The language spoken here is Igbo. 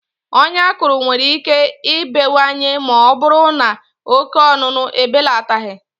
Ọya akụrụ nwere ike ibewanye maọbụrụ n' oke ọṅụṅụ ebelataghị.